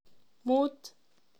Mut.